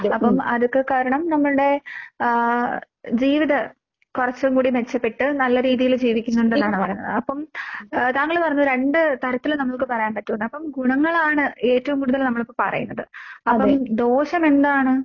അപ്പം അതൊക്കെ കാരണം നമ്മൾടെ ആഹ് ജീവിത കൊറച്ചുങ്കൂടി മെച്ചപ്പെട്ട് നല്ല രീതീല് ജീവിക്കുന്നുണ്ടെന്നാണ് പറയുന്നത്. അപ്പം ആഹ് താങ്കള് പറഞ്ഞു രണ്ട് തരത്തില് നമ്മൾക്ക് പറയാൻ പറ്റൂന്ന്. അപ്പം ഗുണങ്ങളാണ് ഏറ്റോം കൂടുതൽ നമ്മളിപ്പപ്പറയുന്നത്. അപ്പം ദോഷമെന്താണ്?